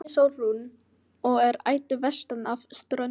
En ég heiti Sólrún og er ættuð vestan af Ströndum.